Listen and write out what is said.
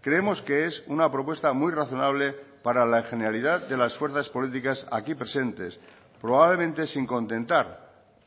creemos que es una propuesta muy razonable para la generalidad de las fuerzas políticas aquí presentes probablemente sin contentar